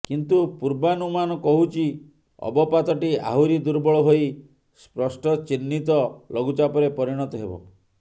କିନ୍ତୁ ପୂର୍ବାନୁମାନ କହୁଛି ଅବପାତଟି ଆହୁରି ଦୁର୍ବଳ ହୋଇ ସ୍ପଷ୍ଟଚିହ୍ନିତ ଲଘୁଚାପରେ ପରିଣତ ହେବ